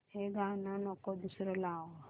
हे गाणं नको दुसरं लाव